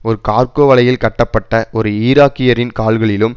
ஒரு கார்கோ வலையில் கட்டப்பட்ட ஒரு ஈராக்கியரின் கால்களிலும்